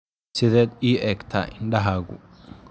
Sideed ii eegtaa indhahagu ?